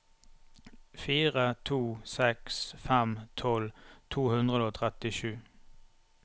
fire to seks fem tolv to hundre og trettisju